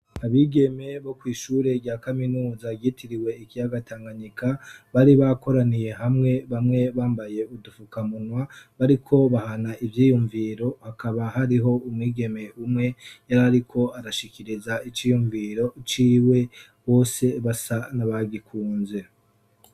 Abigeme bo kwishure rya kaminuza ryitiriwe ikiyaga Tanganyika bari bakoraniye hamwe bamwe bambaye udufukamunwa bariko bahana ivyiyumviro hakaba hariho umwigeme umwe yarariko arashikiriza iciyumviro ciwe bose basa nabagikunze.